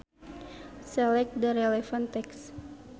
Select the relevant text.